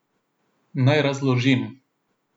Naj razložim.